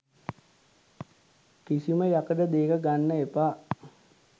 කිසිම යකඩ දේක ගන්න එපා.